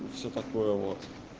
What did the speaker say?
ну всё такое вот